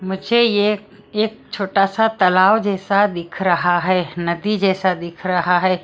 मुझे ये एक छोटा सा तालाव जैसा दिख रहा है नदी जैसा दिख रहा है।